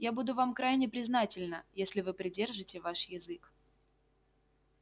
я буду вам крайне признательна если вы придержите ваш язык